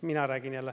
Mina räägin jälle.